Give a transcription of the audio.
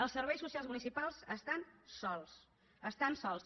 els serveis socials municipals estan sols estan sols